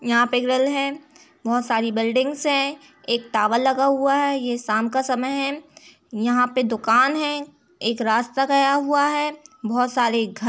यहाँ पे ग्रिल है। बहोत सारी बिल्डिंग्स हैं। एक तावल लगा हुआ है। ये शाम का समय है। यहाँ पे दुकान है। एक रास्ता गया हुआ है। बहोत सारे घर --